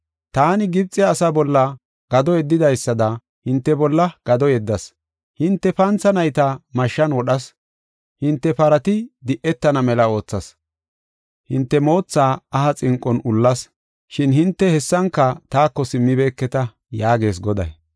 “Taani Gibxe asaa bolla gado yeddidaysada, hinte bolla gado yeddas. Hinte pantha nayta mashshan wodhas; hinte parati di77etana mela oothas. Hinte mootha aha xinqon ullas; shin hinte hessanka taako simmibeketa” yaagees Goday.